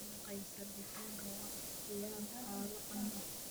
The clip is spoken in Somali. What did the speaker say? Salad Kaysar digaaga waa ikhtiyaar qado caan ah.